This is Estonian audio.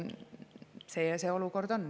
Selline see olukord on.